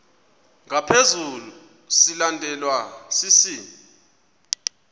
ngaphezu silandelwa sisi